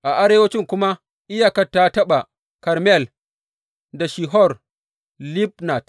A arewanci kuma iyakar ta taɓa Karmel da Shihor Libnat.